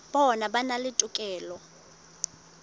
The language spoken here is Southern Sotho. bona ba na le tokelo